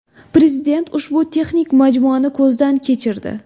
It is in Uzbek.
Prezident ushbu texnik majmuani ko‘zdan kechirdi.